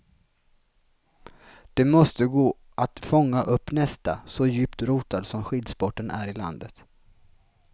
Det måste gå att fånga upp nästa, så djupt rotad som skidsporten är i landet.